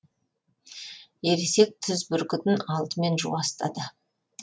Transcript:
ересек түз бүркітін алдымен жуастады